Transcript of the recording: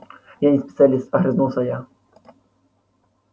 я не специалист огрызнулся я